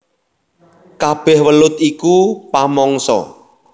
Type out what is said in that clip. Kabèh welut iku pamangsa